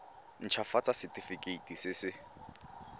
nt hafatsa setefikeiti se se